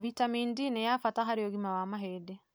Vitamini D nĩ ya bata harĩ ũgima wa mahĩndĩ.